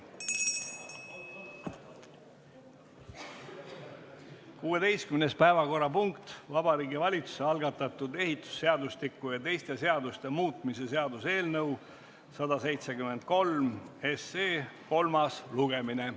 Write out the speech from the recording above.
16. päevakorrapunkt on Vabariigi Valitsuse algatatud ehitusseadustiku ja teiste seaduste muutmise seaduse eelnõu 173 kolmas lugemine.